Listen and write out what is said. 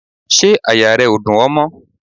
Ṣé àyà rẹ ó dùn ẹ mọ́?